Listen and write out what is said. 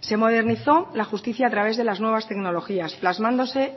se modernizó la justicia a través de las nuevas tecnologías plasmándose